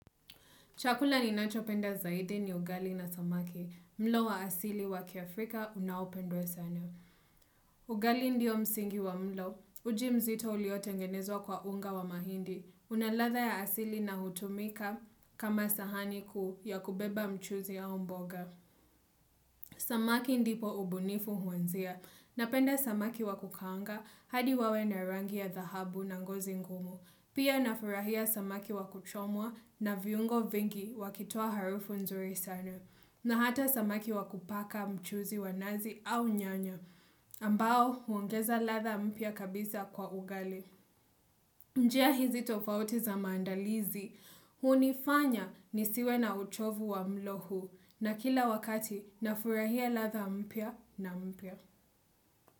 Chakula ninacho penda zaidi ni ugali na samaki. Mlo wa asili wa kiafrika unaopendwe sana. Ugali ndio msingi wa mlo. Ujimzito uliotengenezwa kwa unga wa mahindi. Unaladha ya asili na hutumika kama sahani kuu ya kubeba mchuzi ya au mboga. Samaki ndipo ubunifu huanzia. Napenda samaki wa kukaanga hadi wawe na rangi ya dhahabu na ngozi ngumu. Pia nafurahia samaki wakuchomwa na viungo vingi wakitoa harufu nzuri sana. Na hata samaki wakupaka mchuzi wanazi au nyanya. Ambao, huongeza ladha mpya kabisa kwa ugali. Njia hizi tofauti za maandalizi. Hunifanya nisiwe na uchovu wa mlo huu. Na kila wakati, nafurahia latha mpia na mpia.